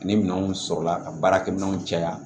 Ani minɛnw sɔrɔla ka baarakɛminɛnw caya